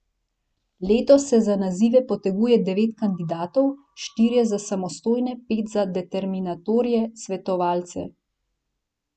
Letos se za nazive poteguje devet kandidatov, štirje za samostojne, pet za determinatorje svetovalce.